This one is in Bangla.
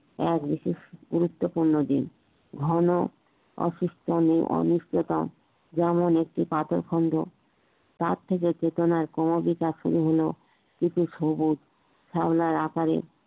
এক বিশেষ গুরুত্বপূর্ণ দিন ভালো অসুস্থনি অনিষ্টতা যেমন একটি পাথরে খন্ড তার থেকে চেতনার ক্রমবিকাশ শুরু হলো এতে সবুজ শেওলার আকারে